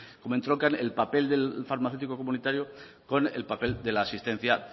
como entroncan el papel del farmacéutico comunitario con el papel de la asistencia